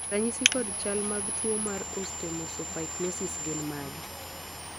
ranyisi kod chal mag tuo mar Osteomesopyknosis gin mage?